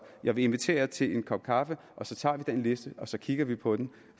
jeg vil invitere til en kop kaffe så tager vi den liste og så kigger vi på den